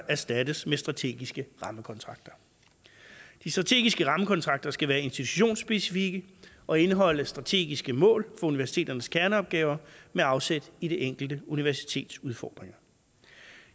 erstattes med strategiske rammekontrakter de strategiske rammekontrakter skal være institutionsspecifikke og indeholde strategiske mål for universiteternes kerneopgaver med afsæt i det enkelte universitets udfordringer